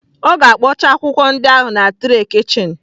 Ọ ga-akpọcha akwụkwọ ndị ahụ na tray kichin.